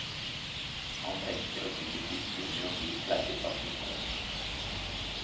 Han tenker og tygger tyggegummi og blir pleiet av sin kone.